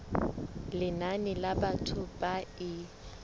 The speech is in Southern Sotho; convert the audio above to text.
lenane la batho ba e